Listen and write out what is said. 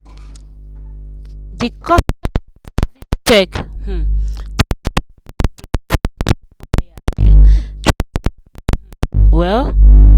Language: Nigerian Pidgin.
the customer service check um the refund problem for the wire wire um transfer um well.